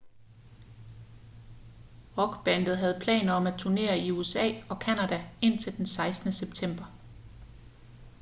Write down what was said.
rockbandet havde planer om at turnere i usa og canada indtil den 16. september